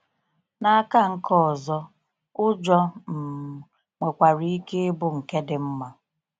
N’aka nke ọzọ, ụjọ um nwekwara ike ịbụ ike dị mma.